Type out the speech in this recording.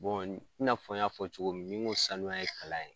Bɔn i na fɔ n y'a fɔ cogo min ni ko sanuya ye kalan ye